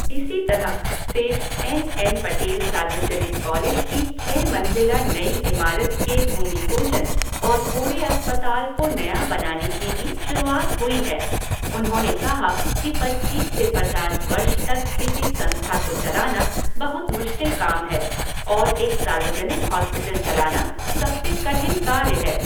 इसी तरह Seth N N Patel सार्वजनिक कॉलेज की छह मंज़िला नई इमारत के भूमिपूजन और पूरे अस्पताल को नया बनाने की भी शुरुआत हुई हैा उन्होने कहा कि पच्चीस से पचास वर्ष तक किसी संस्था को चलाना बहुत मुश्किल काम है और एक सार्वजनिक हॉस्पिटल चलाना सबसे कठिन कार्य है।